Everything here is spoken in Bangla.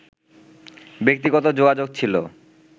ব্যক্তিগত যোগাযোগ ছিল